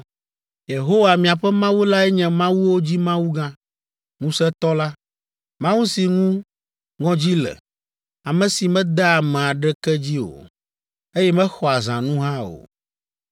“Yehowa, miaƒe Mawu lae nye mawuwo dzi Mawu gã, ŋusẽtɔ la, Mawu si ŋu ŋɔdzi le, ame si medea ame aɖeke dzi o, eye mexɔa zãnu hã o.